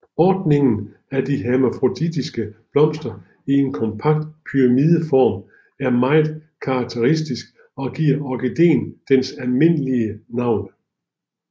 Ordningen af de hermafroditiske blomster i en kompakt pyramideform er meget karakteristisk og giver orkideen dens almindelige navn